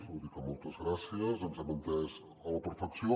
és a dir que moltes gràcies ens hem entès a la perfecció